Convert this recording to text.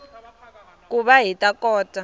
ku va hi ta kota